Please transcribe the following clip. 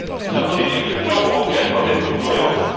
La politique de l'Union européenne doit être cohérente.